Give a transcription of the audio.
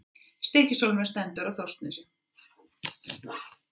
Stykkishólmur stendur á Þórsnesi.